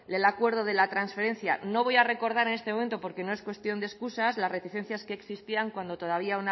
el acuerdo de la transferencia no voy a recordar en este momento porque no es cuestión de escusas las reticencias que existían cuando todavía